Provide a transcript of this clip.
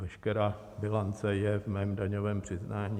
Veškerá bilance je v mém daňovém přiznání.